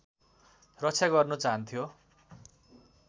रक्षा गर्नु चाहन्थ्यो